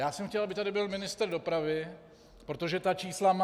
Já jsem chtěl, aby tady byl ministr dopravy, protože ta čísla má.